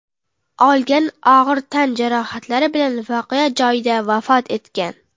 olgan og‘ir tan jarohatlari bilan voqea joyida vafot etgan.